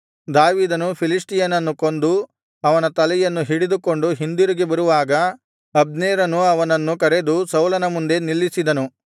ದಾವೀದನು ಫಿಲಿಷ್ಟಿಯನನ್ನು ಕೊಂದು ಅವನ ತಲೆಯನ್ನು ಹಿಡಿದುಕೊಂಡು ಹಿಂದಿರುಗಿ ಬರುವಾಗ ಅಬ್ನೇರನು ಅವನನ್ನು ಕರೆದು ಸೌಲನ ಮುಂದೆ ನಿಲ್ಲಿಸಿದನು